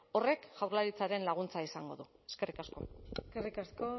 horrek jaurlaritzaren laguntza izango du eskerrik asko eskerrik asko